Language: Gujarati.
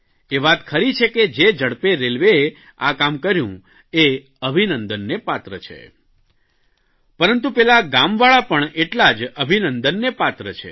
એ વાત ખરી છે કે જે ઝડપે રેલવેએ આ કામ કર્યું એ અભિનંદનને પાત્ર છે પરંતુ પેલા ગામવાળા પણ એટલા જ અભિનંદનને પાત્ર છે